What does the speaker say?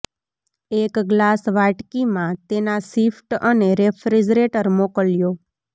એક ગ્લાસ વાટકી માં તેના શિફ્ટ અને રેફ્રિજરેટર મોકલ્યો